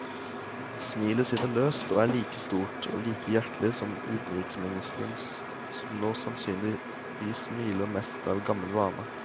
Smilet sitter løst og er like stort og like hjertelig som utenriksministerens, som nå sannsynligvis smiler mest av gammel vane.